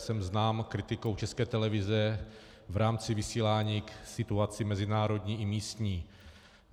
Jsem znám kritikou České televize v rámci vysílání k situaci mezinárodní i místní.